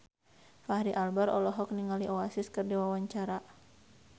Fachri Albar olohok ningali Oasis keur diwawancara